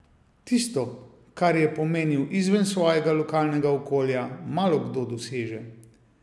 Tisto, kar je pomenil izven svojega lokalnega okolja, malokdo doseže.